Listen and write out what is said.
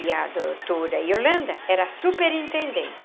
E a doutora Yolanda era superintendente.